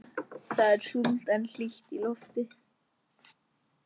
Það er súld en hlýtt í lofti.